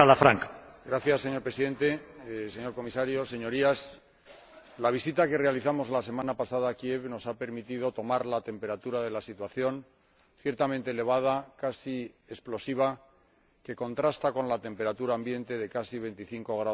Señor Presidente, señor Comisario, Señorías, la visita que realizamos la semana pasada a Kiev nos ha permitido tomar la temperatura de la situación, ciertamente elevada, casi explosiva, que contrasta con la temperatura ambiente de casi veinticinco grados bajo cero.